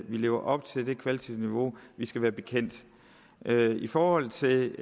vi lever op til det kvalitative niveau vi skal være bekendt i forhold til